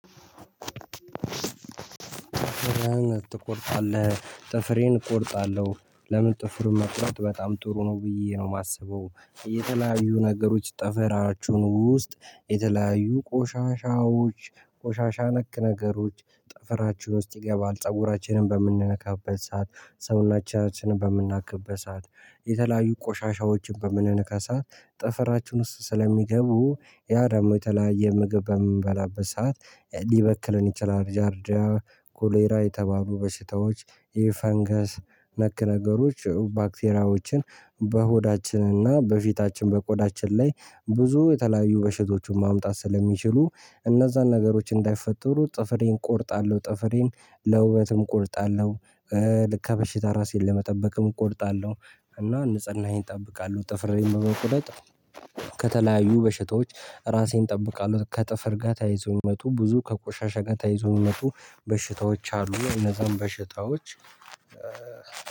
ጥፍርህን ትቆርጣለህ ጥፍሬን እቆርጣለሁ ለምን ጥፍር መቁረጥ በጣም ጥሩ ነው ብዬ ነው የማስበው። የተለያዩ ነገሮች ጠፈራችሁን ውስጥ የተለያዩ ቆሻሻዎች ቆሻሻ ነክ ነገሮች ጠፈራችን ውስጥ ይገባል ፀጉራችንን በምንነካበት ሰዓት ሰውናችንን በምናክብበት ሰዓት የተለያዩ ቆሻሻዎችን በምንነካ ሰዓት ጠፈራችን ውስጥ ስለሚገቡ ያ ደግሞ የተለያየ ምግብ በምንበላበት ሰዓት ሊበክለን ይችላል ጃርዳ ኮሌራ የተባሉ በሽታዎች ይህ ፈንገስ ነክ ነገሮች ባክቴራዎችን በሆዳችንና በፊታችን በቆዳችን ላይ ብዙ የተለያዩ በሽቶቹን ማምጣት ስለሚችሉ እነዛን ነገሮች እንዳይፈጠሩ ጥፍሬን እቆርጣለሁ። ጥፍሬን ለውበትም እቆርጣለሁ። ልክ ከበሽታ ራሴን ለመጠበቅም እቆርጣለሁ እና ንጽህናየን እጠብቃለው። ጥፍሬ በመቁረጥ ከተለያዩ በሽታዎች ራሴን እጠብቃለሁ። ከጥፍር ጋር ተይዞኝ የሚመጡ ብዙ ከቆሻሻ ጋር ተያይዞ ተይዞነቱ በሽታዎች አሉ የነዛን በሽታዎች።